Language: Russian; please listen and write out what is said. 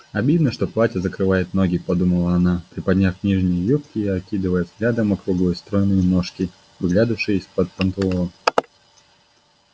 обидно что платье закрывает ноги подумала она приподняв нижние юбки и окидывая взглядом округлые стройные ножки выглядывавшие из-под панталон